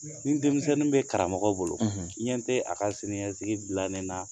Ni denmisɛnnin bɛ karamɔgɔ bolo, i ɲɛ tɛ a ka siniɲɛsigi dilannen na